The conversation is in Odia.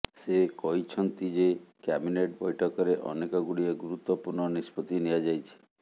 ସେ କହିଛନ୍ତି ଯେ କ୍ୟାବିନେଟ ବୈଠକରେ ଅନେକ ଗୁଡ଼ିଏ ଗୁରୁତ୍ୱପୂର୍ଣ୍ଣ ନିଷ୍ପତ୍ତି ନିଆଯାଇଛି